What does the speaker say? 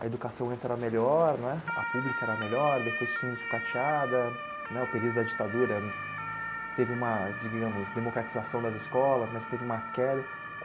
A educação antes era melhor né, a pública era melhor, depois foi sendo sucateada né, o período da ditadura teve uma, digamos, democratização das escolas, mas teve uma queda.